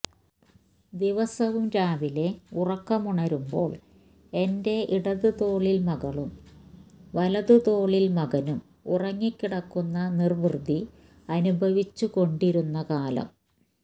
ദിവസവും രാവിലെ ഉറക്കമുണരുമ്പോള് എന്റെ ഇടത് തോളില് മകളും വലത് തോളില് മകനും ഉറങ്ങിക്കിടക്കുന്ന നിര്വൃതി അനുഭവിച്ചുകൊണ്ടിരുന്നകാലം